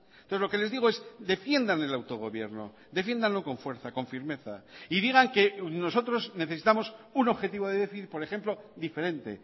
entonces lo que les digo es defiendan el autogobierno defiéndanlo con fuerza con firmeza y digan que nosotros necesitamos un objetivo de déficit por ejemplo diferente